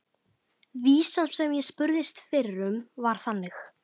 Vísan sem ég spurðist fyrir um var þannig